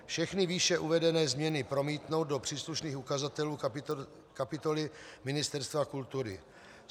Všechny výše uvedené změny promítnout do příslušných ukazatelů kapitoly Ministerstva kultury.